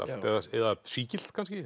eða sígilt kannski